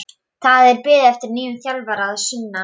Það er beðið eftir nýjum þjálfara að sunnan.